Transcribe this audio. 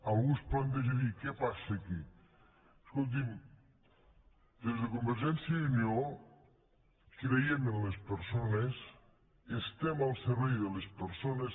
algú es planteja dir què passa aquí escolti’m des de convergència i unió creiem en les persones estem al servei de les persones